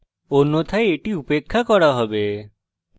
অন্যথায় এটি উপেক্ষা করা হবে